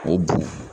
O bon